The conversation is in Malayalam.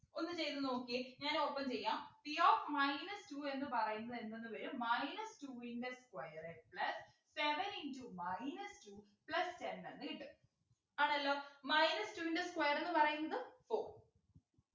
ഒന്ന് ചെയ്തു നോക്കിയെ ഞാൻ ഒപ്പം ചെയ്യാം p of minus two എന്ന് പറയുമ്പോ എന്തെന്നുവരും minus two ൻ്റെ square plus seven into minus two plus ten എന്ന് കിട്ടും ആണല്ലോ minus two ൻ്റെ square എന്ന് പറയുന്നത് four